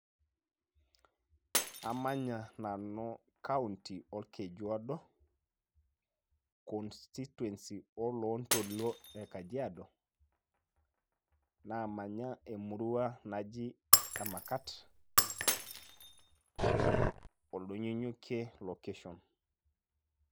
Amanya nanu kaunti olkeju odo, constituency olooltoluo e kajiado, namanya emurua naji emakat, oldonyonyokie location.